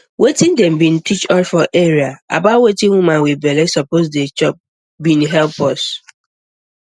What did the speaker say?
wetin dem be teach us for area about wetin woman wit belle suppose dey chop be help us